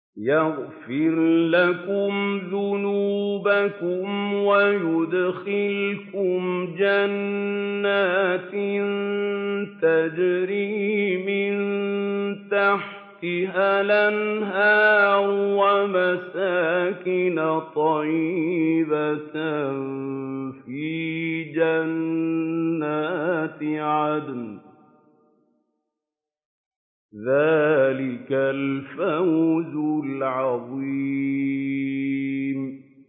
يَغْفِرْ لَكُمْ ذُنُوبَكُمْ وَيُدْخِلْكُمْ جَنَّاتٍ تَجْرِي مِن تَحْتِهَا الْأَنْهَارُ وَمَسَاكِنَ طَيِّبَةً فِي جَنَّاتِ عَدْنٍ ۚ ذَٰلِكَ الْفَوْزُ الْعَظِيمُ